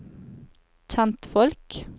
kjentfolk